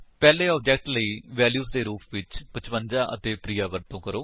ਪਹਿਲੇ ਆਬਜੇਕਟ ਲਈ ਵੈਲਿਊਜ ਦੇ ਰੁਪ ਵਿੱਚ 55 ਅਤੇ ਪ੍ਰਿਆ ਵਰਤੋ ਕਰੋ